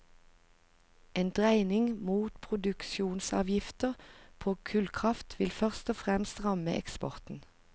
En dreining mot produksjonsavgifter på kullkraft ville først og fremst ramme eksporten.